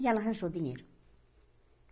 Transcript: E ela arranjou o dinheiro.